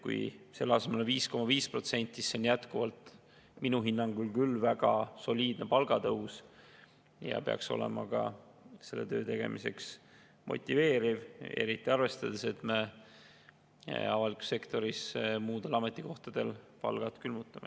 Kui selle asemel on 5,5%, siis see on minu hinnangul ikkagi väga soliidne palgatõus ja peaks olema ka selle töö tegemiseks motiveeriv, eriti arvestades, et me avalikus sektoris muudel ametikohtadel palgad külmutame.